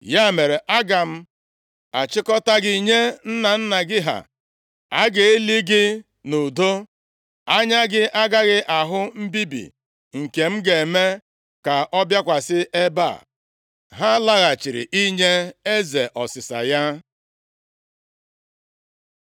Ya mere, aga m achịkọta gị nye nna nna gị ha, a ga-eli gị nʼudo. Anya gị agaghị ahụ mbibi nke m ga-eme ka ọ bịakwasị ebe a.’ ” Ha laghachiri inye eze ọsịsa ya.